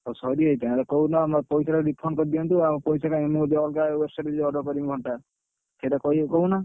'ଓହୋ!'' ସରିଯାଇଛି ତାଙ୍କର କହୁନ ଆମର ପଇସା ଟା refund କରିଦିଆନ୍ତୁ ଆଉ ଆମର ପଇସା ଟା ଆମ ପଇସା ଟା ଆମେ ଅଲଗା website ରେ ଯାଇ order କରିବୁ ଘଣ୍ଟା, ସେଇଟା କହୁନା।